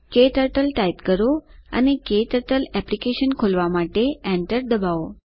ક્ટર્ટલ ટાઇપ કરો અને ક્ટર્ટલ એપ્લીકેશન ખોલવા માટે એન્ટર દબાવો